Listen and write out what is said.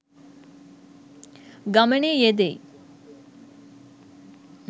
ගමනේ යෙදෙයි.